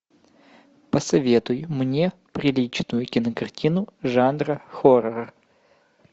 посоветуй мне приличную кинокартину жанра хоррор